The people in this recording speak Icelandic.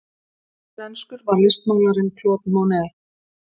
Hverslenskur var listmálarinn Claude Monet?